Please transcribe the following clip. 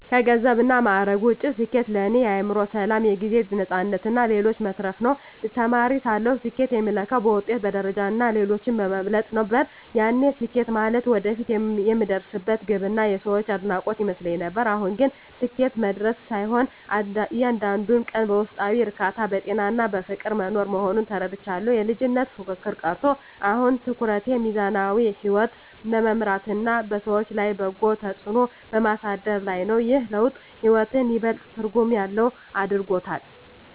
ከገንዘብና ማዕረግ ውጭ፣ ስኬት ለእኔ የአእምሮ ሰላም፣ የጊዜ ነፃነትና ለሌሎች መትረፍ ነው። ተማሪ ሳለሁ ስኬትን የምለካው በውጤት፣ በደረጃና ሌሎችን በመብለጥ ነበር፤ ያኔ ስኬት ማለት ወደፊት የምደርስበት ግብና የሰዎች አድናቆት ይመስለኝ ነበር። አሁን ግን ስኬት መድረሻ ሳይሆን፣ እያንዳንዱን ቀን በውስጣዊ እርካታ፣ በጤናና በፍቅር መኖር መሆኑን ተረድቻለሁ። የልጅነት ፉክክር ቀርቶ፣ አሁን ትኩረቴ ሚዛናዊ ሕይወት በመምራትና በሰዎች ላይ በጎ ተጽዕኖ በማሳደር ላይ ነው። ይህ ለውጥ ሕይወትን ይበልጥ ትርጉም ያለው አድርጎታል።